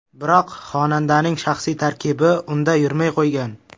Biroq xonandaning shaxsiy tarkibi unda yurmay qo‘ygan.